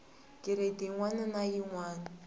giredi yin wana na yin